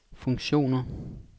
funktioner